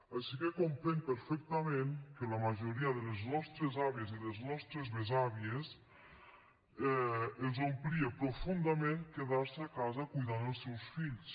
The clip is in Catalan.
així que comprenc perfectament que a la majoria de les nostres àvies i les nostres besàvies els omplís profundament quedar se a casa cuidant els seus fills